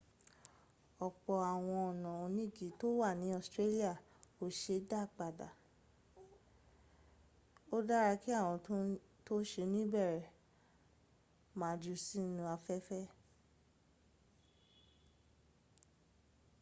ọ̀pọ̀ àwọn ọnà onígi tó wà ní australia kò se é dá padà. ó dára kí àwọn tó sẹ̀ ń bẹ̀rẹ má jù ú sínú afẹ́fẹ́.̀